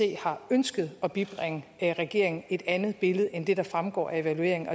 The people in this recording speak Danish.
har ønsket at bibringe regeringen et andet billede end det der fremgår af evalueringen